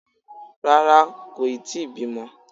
Rárá, kò yí tíì bímọ